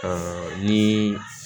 ni